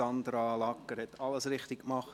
Sandra Lagger hat alles richtig gemacht.